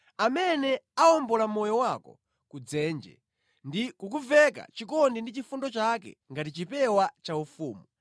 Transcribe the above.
amene awombola moyo wako ku dzenje ndi kukuveka chikondi ndi chifundo chake ngati chipewa chaufumu,